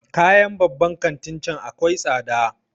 Kayan babban kantin can akwai tsada